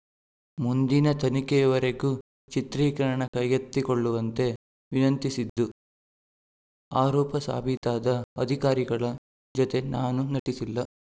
ಮುಂದಿನ ತನಿಖೆಯವರೆಗೂ ಚಿತ್ರೀಕರಣ ಕೈಗೆತ್ತಿಕೊಳ್ಳವಂತೆ ವಿನಂತಿಸಿದ್ದು ಆರೋಪ ಸಾಬೀತಾದ ಅಧಿಕಾರಿಗಳ ಜತೆ ನಾನು ನಟಿಸಿಲ್ಲ